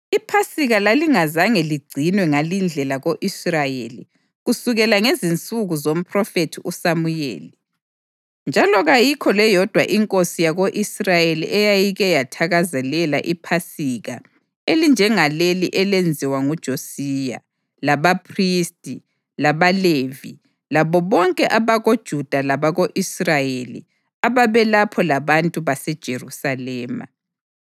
IPhasika lalingazange ligcinwe ngalindlela ko-Israyeli kusukela ngezinsuku zomphrofethi uSamuyeli; njalo kayikho leyodwa inkosi yako-Israyeli eyayike yathakazelela iPhasika elinjengaleli elenziwa nguJosiya, labaphristi, labaLevi labo bonke abakoJuda labako-Israyeli ababelapho labantu baseJerusalema.